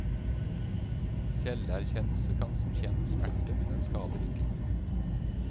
Selverkjennelse kan som kjent smerte, men den skader ikke.